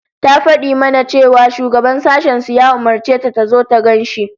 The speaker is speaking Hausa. Ta fadi mana cewa shugaban sashen su ya umurce ta tazo ta gan shi